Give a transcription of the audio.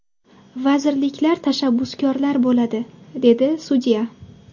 Vazirliklar tashabbuskorlar bo‘ladi”, dedi sudya.